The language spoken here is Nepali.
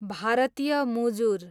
भारतीय मुजुर